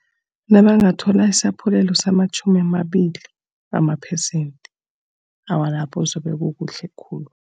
Nabangathola isaphulelo samatjhumi amabili wamaphesenthe, awa lapho zabe kukuhle khulu.